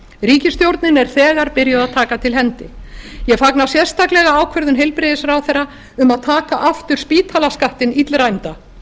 ríkisstjórnin er þegar byrjuð að taka til hendinni ég fagna sérstaklega ákvörðun heilbrigðisráðherra um að taka aftur spítalaskattinn illræmda